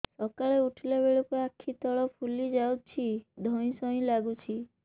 ସକାଳେ ଉଠିଲା ବେଳକୁ ଆଖି ତଳ ଫୁଲି ଯାଉଛି ଧଇଁ ସଇଁ ଲାଗୁଚି